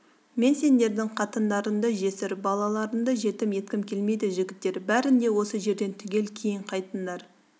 мен сендердің қатындарыңды жесір балаларыңды жетім еткім келмейді жігіттер бәрің де осы жерден түгел кейін қайтыңдар